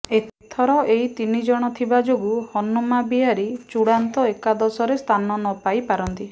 ଏଥର ଏ ତିନି ଜଣ ଥିବା ଯୋଗୁ ହନୁମା ବିହାରୀ ଚୂଡ଼ାନ୍ତ ଏକାଦଶରେ ସ୍ଥାନ ନ ପାଇ ପାରନ୍ତି